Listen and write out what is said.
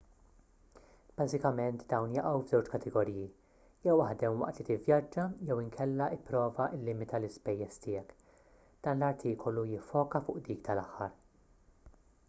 bażikament dawn jaqgħu f'żewġ kategoriji jew aħdem waqt li tivvjaġġa jew inkella ipprova llimita l-ispejjeż tiegħek dan l-artikolu jiffoka fuq dik tal-aħħar